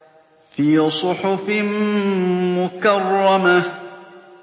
فِي صُحُفٍ مُّكَرَّمَةٍ